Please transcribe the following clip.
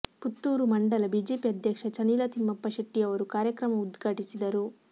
ಪುತ್ತೂರು ಮಂಡಲ ಬಿಜೆಪಿ ಅಧ್ಯಕ್ಷ ಚನಿಲ ತಿಮ್ಮಪ್ಪ ಶೆಟ್ಟಿಯವರು ಕಾರ್ಯಕ್ರಮ ಉದ್ಘಾಟಿಸಿದರು